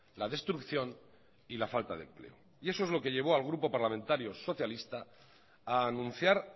la destrucción y la falta de empleo y eso es lo que llevó al grupo parlamentario socialista ha anunciar